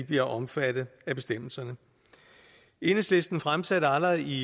bliver omfattet af bestemmelserne enhedslisten fremsatte allerede i